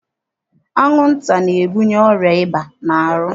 Anwụnta na-ebunye ọrịa ịba n'ahụ.